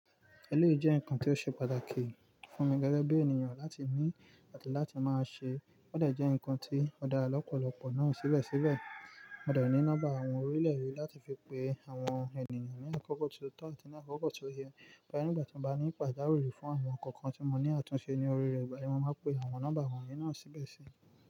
Ẹléyii jẹ́ ǹkan tí ó ṣe pàtàkì fún mi gẹ́gẹ́ bí ènìyàn láti ní àti láti máa ṣe. Ó dè jẹ́ ǹkan tí ó dára lọ́pọ̀lọpọ̀ náà síbẹ̀síbẹ̀. Mo dẹ̀ ní nọ́mbà àwọn orílẹ̀-èdè láti fi pe àwọn ènìyàn ní àkókò ti o tọ́ àti ní àkókò tó yẹ. Nígbà tí mo bá ní pàjáwìrì fún àwọn ǹkan kan tí mo ní àtúnṣe ní oríire ìgbà mí máa ń pe àwọn nọ́mbà àwọn ènìyàn náà síbẹ̀ sí.